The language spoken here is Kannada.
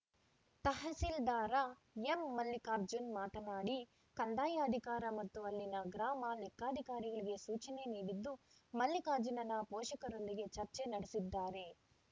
ತಹಸೀಲ್ದಾರ ಎಂಮಲ್ಲಿಕಾರ್ಜುನ್‌ ಮಾತನಾಡಿ ಕಂದಾಯ ಅಧಿಕಾರಿ ಮತ್ತು ಅಲ್ಲಿನ ಗ್ರಾಮ ಲೆಕ್ಕಾಧಿಕಾರಿಗಳಿಗೆ ಸೂಚನೆ ನೀಡಿದ್ದು ಮಲ್ಲಿಕಾರ್ಜುನನ ಪೋಷಕರೊಂದಿಗೆ ಚರ್ಚೆ ನಡೆಸಿದ್ದಾರೆ